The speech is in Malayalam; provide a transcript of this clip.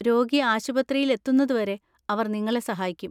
രോഗി ആശുപത്രിയിൽ എത്തുന്നതുവരെ അവർ നിങ്ങളെ സഹായിക്കും.